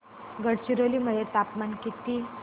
गडचिरोली मध्ये तापमान किती